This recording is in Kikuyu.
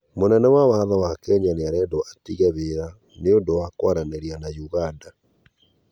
Mũnene wa watho wa Kenya nĩarendwo atĩge wĩra nĩundũ wa kwaranĩria na uganda